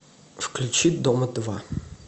включи дом два